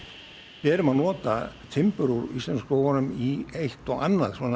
erum að nota timbur úr íslensku skógunum í eitt og annað